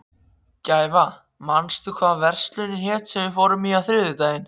Gæfa, manstu hvað verslunin hét sem við fórum í á þriðjudaginn?